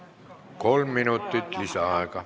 Kolm minutit lisaaega.